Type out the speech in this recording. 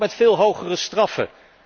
En ook met veel hogere straffen.